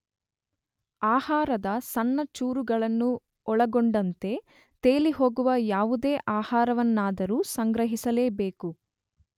ಆಹಾರದ ಸಣ್ಣ ಚೂರುಗಳನ್ನು ಒಳಗೊಂಡಂತೆ ತೇಲಿಹೋಗುವ ಯಾವುದೇ ಆಹಾರವನ್ನಾದರೂ ಸಂಗ್ರಹಿಸಲೇಬೇಕು.